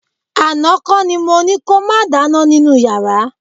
Àná kọ́ ni mo ní ko máa dáná nínú yàrá